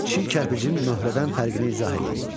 Çiy kərpicin möhrədən fərqini izah eləyin.